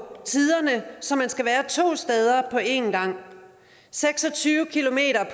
tiderne så man skal være to steder på en gang seks og tyve